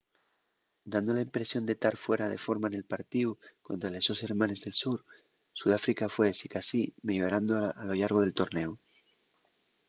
dando la impresión de tar fuera de forma nel partíu contra les sos hermanes del sur sudáfrica fue sicasí meyorando a lo llargo del tornéu